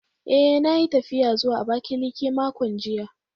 Eh, na yi tafiya zuwa Abakiliki makon jiya